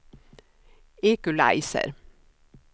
equalizer